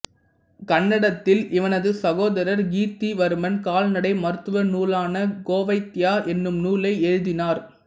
கன்னடத்தில் இவனது சகோதரர் கீர்த்திவர்மன் கால்நடை மருத்துவ நூலான கோவைத்யா என்னும் நூலை எழுதினார்